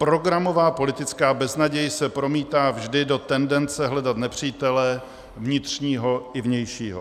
Programová politická beznaděj se promítá vždy do tendence hledat nepřítele vnitřního i vnějšího.